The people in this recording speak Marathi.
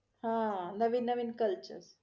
हा नवीन नवीन culture